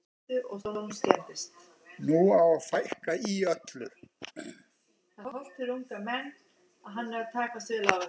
Nú á að fækka í öllu.